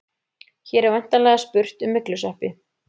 Hér er væntanlega spurt um myglusveppi.